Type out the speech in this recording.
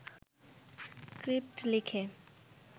script লিখে